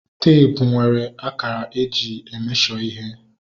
Teepu nwere akara eji e mesho ihe